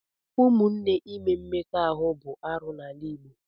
Ụmụnne ime mmekọahụ bụ arụ n'ala Igbo.